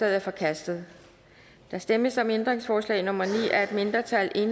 er forkastet der stemmes om ændringsforslag nummer ni af et mindretal